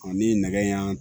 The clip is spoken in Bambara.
ni nɛgɛ y'an